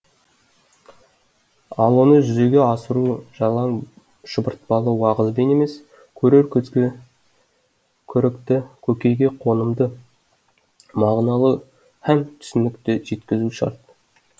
ал оны жүзеге асыру жалаң шұбыртпалы уағызбен емес көрер көзге көрікті көкейге қонымды мағыналы һәм түсінікті жеткізу шарт